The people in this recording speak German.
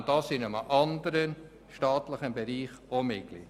Wäre dies in einem anderen staatlichen Bereich auch möglich?